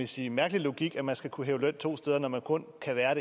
sige mærkelig logik at man skal kunne hæve løn to steder når man kun kan være